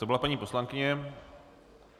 To byla paní poslankyně.